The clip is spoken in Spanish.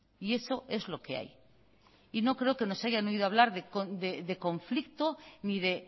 y eso es lo que hay y no creo que nos hayan oído hablar de conflicto ni de